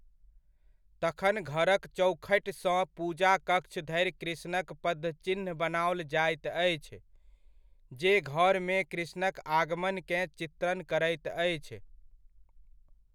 तखन घरक चौखटिसँ पूजा कक्ष धरि कृष्णक पदचिह्न बनाओल जाइत अछि, जे घरमे कृष्णक आगमनकेँ चित्रण करैत अछि।